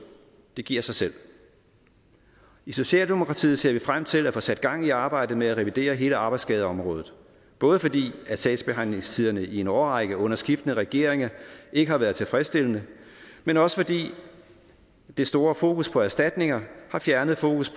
det giver sig selv i socialdemokratiet ser vi frem til at få sat gang i arbejdet med at revidere hele arbejdsskadeområdet både fordi sagsbehandlingstiderne i en årrække under skiftende regeringer ikke har været tilfredsstillende men også fordi det store fokus på erstatninger har fjernet fokus